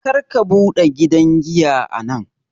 Karka buɗe gidan giya a nan!